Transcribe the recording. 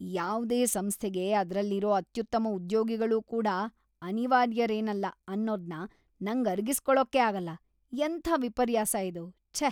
ಯಾವ್ದೇ ಸಂಸ್ಥೆಗೆ ಅದ್ರಲ್ಲಿರೋ ಅತ್ಯುತ್ತಮ ಉದ್ಯೋಗಿಗಳೂ ಕೂಡ ಅನಿವಾರ್ಯರೇನಲ್ಲ ಅನ್ನೋದ್ನ ನಂಗ್ ಅರ್ಗಿಸ್ಕೊಳಕ್ಕೇ ಆಗಲ್ಲ. ಎಂಥ ವಿಪರ್ಯಾಸ ಇದು, ಛೇ.